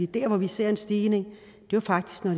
der hvor vi ser en stigning er faktisk når